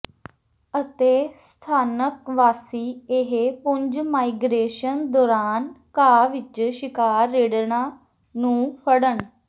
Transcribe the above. ਅਤੇ ਸਥਾਨਕ ਵਾਸੀ ਇਹ ਪੁੰਜ ਮਾਈਗਰੇਸ਼ਨ ਦੌਰਾਨ ਘਾਹ ਵਿਚ ਸ਼ਿਕਾਰ ਰਿੜ੍ਹਨਾ ਨੂੰ ਫੜਨ